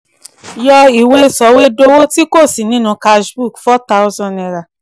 yọ ìwé sọ̀wédowó ti kò sí nínú cash book four thousand naira